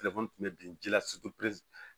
tun bɛ bin ji la